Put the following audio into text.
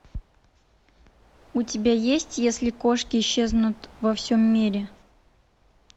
у тебя есть если кошки исчезнут во всем мире